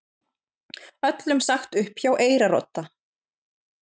Öllum sagt upp hjá Eyrarodda